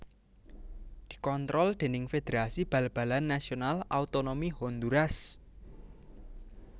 Dikontrol déning Federasi Bal balan Nasional Autonomi Honduras